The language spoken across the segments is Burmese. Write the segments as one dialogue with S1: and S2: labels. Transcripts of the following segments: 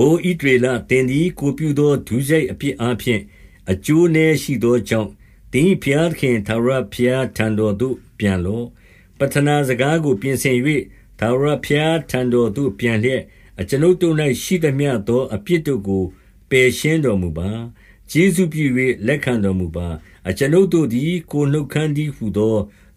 S1: အိုဣသရေလ၊ သင်သည် ကိုယ်ပြုသော ဒုစရိုက်အပြစ်အားဖြင့် အကျိုးနည်းရှိသောကြောင့် သင်၏ ဘု ရားသခင် ထာဝရဘုရားထံတော်သို့ ပြန်လော့။ 2 ပဌနာစကားကို ပြင်ဆင်၍ ထာဝရဘုရားထံတော်သို့ ပြန်လျက်၊ အကျွန်ုပ်တို့၌ ရှိသမျှသောအပြစ်တို့ ကို ပယ်ရှင်းတော်မူပါ။ ကျေးဇူးပြု၍ လက်ခံတော်မူပါ။ အကျွန်ုပ်တို့သည် ကိုယ်နှုတ်ခမ်းတည်းဟူသော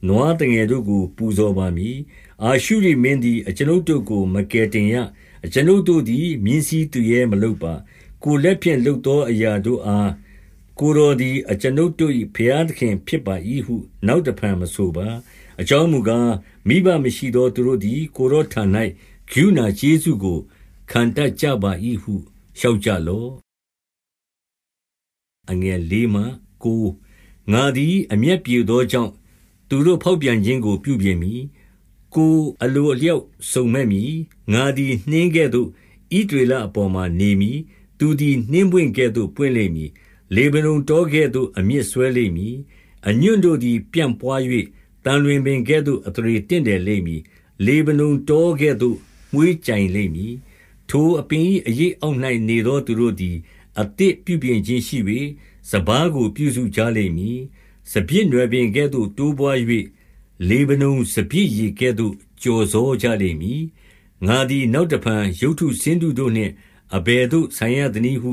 S1: နွားသ ငယ်တို့ကို ပူဇော်ပါမည်။ 3 အာရှုရိမင်းသည် အကျွန်ုပ်တို့ကို မကယ်တင်ရ။ အကျွန်ုပ်တို့သည် မြင်းစီးသူရဲမလုပ်ပါ။ ကိုယ်လက်ဖြင့် လုပ်သောအရာတို့အား၊ ကိုယ်တော်တို့သည် အကျွန်ုပ်တို့၏ ဘုရားသခင်ဖြစ်ပါ၏ဟု နောက်တဖန် မဆိုပါ။ အ ကြောင်းမူကား၊ မိဘမရှိသောသူတို့သည် ကိုယ်တော်ထံ၌ ကရုဏာကျေးဇူးကို ခံတတ်ကြပါ၏ဟု လျှောက်ကြလော့။ 4 ငါသည် အမျက်ပြေသောကြောင့် သူတို့ဖောက် ပြန်ခြင်းကို ပြုပြင်မည်။ ကိုယ်အလိုအလျောက် စုံမက် မည်။ 5 ငါသည် နှင်းကဲ့သို့ ဣသရေလအပေါ်မှာ နေမည်။ သူသည် နှင်းပွင့်ကဲ့သို့ ပွင့်လိမ့်မည်။ လေဗနုန် တောကဲ့သို့ အမြစ်စွဲလိမ့်မည်။ 6 အညွှန့်တို့သည် ပြန့်ပွါး၍၊ သံလွင်ပင်ကဲ့သို့ အသရေတင့်တယ်လိမ့်မည်။ လေဗနုန်တောကဲ့သို့ မွှေးကြိုင် လိမ့်မည်။ 7 ထိုအပင်၏ အရိပ်အောက်၌နေသောသူတို့သည် အသစ်ပြုပြင်ခြင်းရှိ၍ စပါးကိုပြုစုကြလိမ့်မည်။ စပျစ်နွယ်ပင်ကဲ့သို့ တိုးပွါး၍ လေဗနုန်စပျစ်ရည်ကဲ့သို့ ကျော်စောကြလိမ့်မည်။ 8 ငါသည် နောက်တဖန် ရုပ်တုဆင်းတုတို့နှင့် အဘယ်သို့ဆိုင်ရသနည်းဟု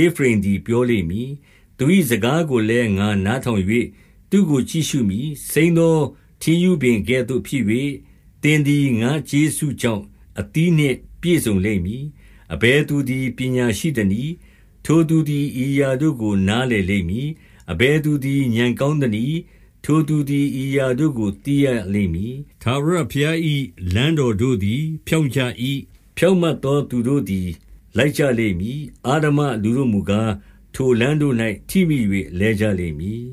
S1: ဧဖရိမ်သည် ပြောလိမ့်မည်။သူ၏စကားကိုလည်း ငါနားထောင်၍ သူ့ကိုကြည့်ရှုမည်။ စိမ်းသောထင်းရှုးပင်ကဲ့သို့ဖြစ်၍၊ သင်သည် ငါ့ကျေးဇူးကြောင့် အသီးနှင့်ပြည့်စုံလိမ့်မည်။ 9 အဘယ်သူသည်ပညာရှိသနည်း။ ထိုသူသည် ဤအရာတို့ကို နားလည်လိမ့်မည်။ အဘယ်သူသည် ဥာဏ်ကောင်းသနည်း။ ထိုသူသည် ဤအရာတို့ကို သိရလိမ့်မည်။ အဘယ်သူသည် ဖြောင့်ကြ၏။ ဖြောင့်မတ် သော သူတို့သည် လိုက်ကြလိမ့်မည်။ အဓမ္မလူတို့မူကား၊ ထိုလမ်းတို့၌ ထိမိ၍ လဲကြလိမ့်မည်